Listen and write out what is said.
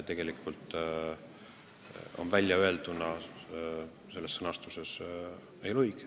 Artur Talvik, palun!